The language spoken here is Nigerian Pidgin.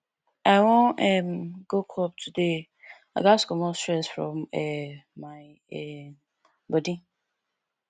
i wan um go club today i gats comot stress from um my um bodi